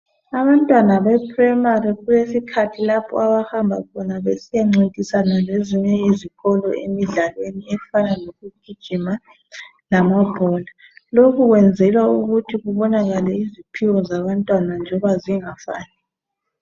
Abantwana beprimary kulesikhathi lapho abahamba besiyancintisana lezinye izikolo emidlalweni efana lokugijima lamabhola lokhu kwenzelwa ukuthi kubonakale iziphiwo zabantwana njengoba zingafani.